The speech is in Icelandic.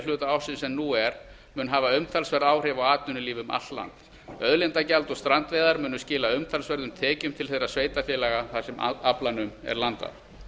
hluta ársins en nú er mun hafa umtalsverð áhrif á atvinnulíf um allt land auðlindagjald og strandveiðar munu og skila umtalsverðum tekjum til þeirra sveitarfélaga þar sem aflanum er landað